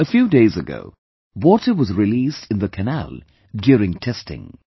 A few days ago, water was released in the canal during testing